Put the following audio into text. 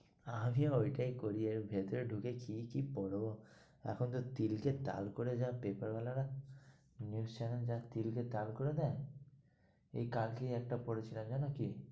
আমি ও ওটাই করি, ভেতর এ ঢুকে কি কি পড়বো, এখন যা তিল কে তাল করে যা পেপার ওয়ালারা, new's channel রা যা তিল কে তাল করে দেয়, এই কালকেই একটা পড়ছিলাম জানো কি?